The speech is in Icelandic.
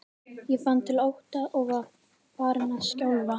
Ég fann til ótta og var farin að skjálfa.